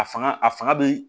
A fanga a fanga bɛ